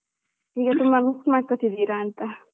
ಈಗ ಎಲ್ಲ ನೆನಪ್ ಮಾಡ್ಕೊಂತಿದ್ದೀರಂತ.